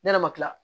Ne yɛrɛ ma kila